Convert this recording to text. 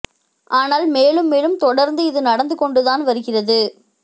ஆனால் மேலும் மேலும் தொடர்ந்து இது நடந்து கொண்டுதான் வருகிறது